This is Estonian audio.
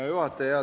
Hea juhataja!